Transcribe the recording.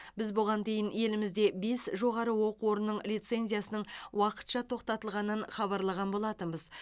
біз бұған дейін елімізде бес жоғары оқу орнының лицензиясының уақытша тоқтатылғанын хабарлаған болатынбыз